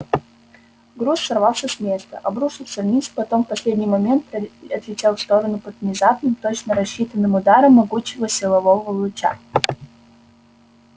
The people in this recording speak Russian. груз сорвался с места обрушился вниз потом в последний момент отлетел в сторону под внезапным точно рассчитанным ударом могучего силового луча